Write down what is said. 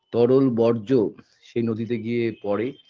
তরল বর্জ্য সেই নদীতে গিয়ে পড়ে